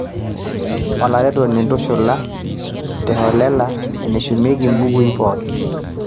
olaretoni ntushula teholela eneshumieki imbukui pooki